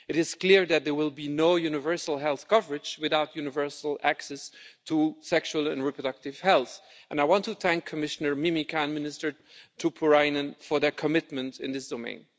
It is clear that there will be no universal health coverage without universal access to sexual and reproductive health, and I want to thank Commissioner Mimica and Minister Tuppurainen for their commitment in this domain.